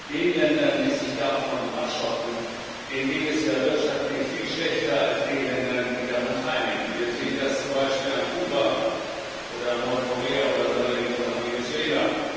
Den Ländern, die sich davon abschotten, geht es ja wirtschaftlich viel schlechter als den Ländern, die daran teilnehmen. Wir sehen das zum Beispiel an Kuba oder an Nordkorea oder neuerdings auch an Venezuela.